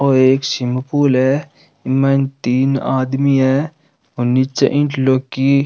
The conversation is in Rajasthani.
यो एक स्विमिंग पूल है एमे तीन आदमी है और निचे --